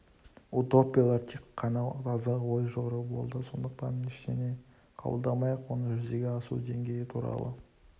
утопиялар тек қана таза ой жору болды сондықтан ештеңе қабылдамай-ақ оны жүзеге асу деңгейі туралы